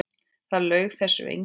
Það laug þessu enginn.